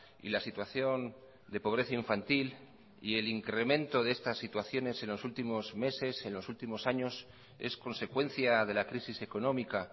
y la situación de pobreza infantil y el incremento de estas situaciones en los últimos meses en los últimos años es consecuencia de la crisis económica